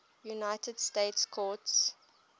united states courts